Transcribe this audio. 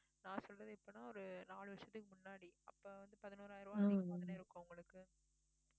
நான் சொல்றது எப்பன்னா ஒரு நாலு வருஷத்துக்கு முன்னாடி அப்ப வந்து பதினோராயிரம் அதிகமா தான இருக்கும் உங்களுக்கு